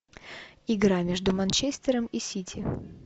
игра между манчестером и сити